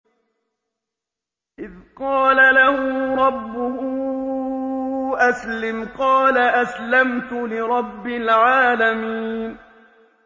إِذْ قَالَ لَهُ رَبُّهُ أَسْلِمْ ۖ قَالَ أَسْلَمْتُ لِرَبِّ الْعَالَمِينَ